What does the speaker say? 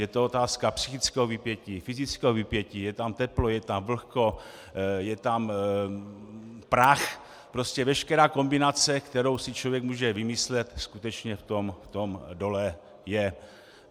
Je to otázka psychického vypětí, fyzického vypětí, je tam teplo, je tam vlhko, je tam prach, prostě veškerá kombinace, kterou si člověk může vymyslet, skutečně v tom dole je.